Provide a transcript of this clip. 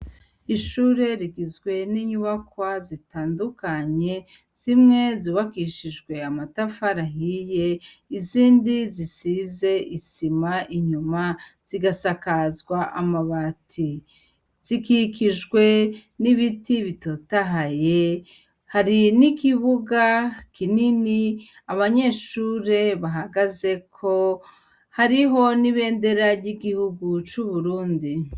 Ishure rigizwe ni'nyubakwa zitandukanye zimwe zubakishijwe amatafari ahiye izindi zisize isima inyuma zigasakazwa amabati. Zikikijwe n'ibiti bitotahaye hari n'ikibuga kinini abanyeshure bahagazeko, hariho n'ibendera ry'igihugu c'Uburundi.